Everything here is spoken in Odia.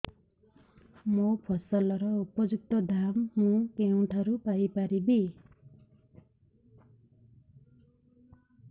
ମୋ ଫସଲର ଉପଯୁକ୍ତ ଦାମ୍ ମୁଁ କେଉଁଠାରୁ ପାଇ ପାରିବି